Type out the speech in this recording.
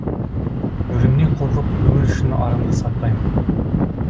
өлімнен қорқып өмір үшін арымды сатпаймын